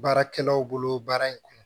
Baarakɛlaw bolo baara in kɔnɔ